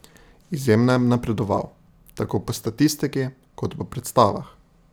Izjemno je napredoval, tako po statistiki kot po predstavah.